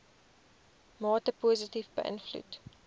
mate positief beïnvloed